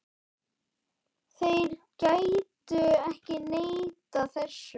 Þeir gætu ekki neitað þessu.